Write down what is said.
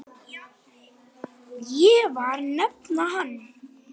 Ég var nafna hennar.